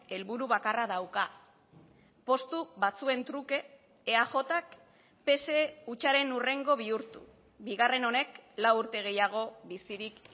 helburu bakarra dauka postu batzuen truke eajk pse hutsaren hurrengo bihurtu bigarren honek lau urte gehiago bizirik